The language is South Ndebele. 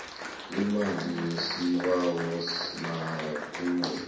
imali yesibawo nakube